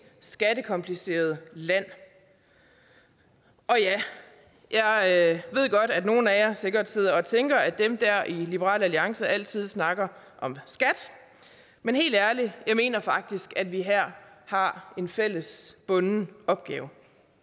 skattekomplicerede land og ja jeg ved godt at nogle af jer sikkert sidder og tænker at dem der i liberal alliance altid snakker om skat men helt ærligt jeg mener faktisk at vi her har en fælles bunden opgave